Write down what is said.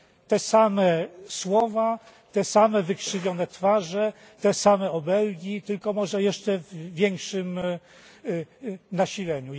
Te same słowa, te same wykrzywione twarze, te same obelgi, tylko może w jeszcze większym nasileniu.